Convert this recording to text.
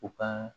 U ka